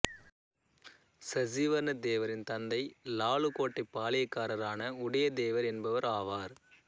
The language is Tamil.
சசிவர்ணத் தேவரின் தந்தை நாலுகோட்டை பாளையக்காரரான உடையாத் தேவர் என்பவர் ஆவார்